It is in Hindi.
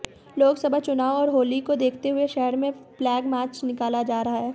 लोकसभा चुनाव और होली को देखते हुए शहर में फ्लैग मार्च निकाला जा रहा है